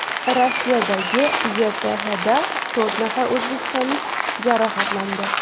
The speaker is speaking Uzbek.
Rossiyadagi YTHda to‘rt nafar o‘zbekistonlik jarohatlandi.